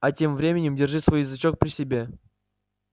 а тем временем держи свой язычок при себе